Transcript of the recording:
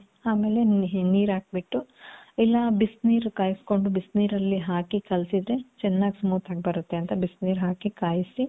ಆಮೇಲೆ ನೀರ್ ಹಾಕ್ಬಿಟ್ಟು, ಇಲ್ಲಾ ಬಿಸ್ನೀರು ಕಾಯಿಸ್ಕೊಂಡು, ಬಿಸ್ನೀರಲ್ಲಿ ಹಾಕಿ ಕಲ್ಸಿದ್ರೆ ಚೆನ್ನಾಗ್ smooth ಆಗ್ ಬರುತ್ತೆ ಅಂತ ಬಿಸ್ನೀರ್ ಹಾಕಿ ಕಾಯ್ಸಿ